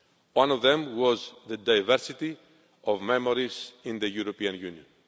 One of them was the diversity of memories in the European Union.